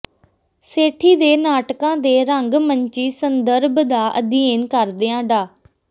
ਸੇਠੀ ਦੇ ਨਾਟਕਾਂ ਦੇ ਰੰਗ ਮੰਚੀ ਸੰਦਰਭ ਦਾ ਅਧਿਐਨ ਕਰਦਿਆਂ ਡਾ